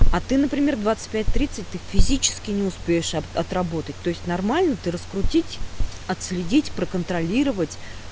а ты например в двадцать пять тридцать ты физически не успеешь отработать то есть нормально ты раскрутить отследить проконтролировать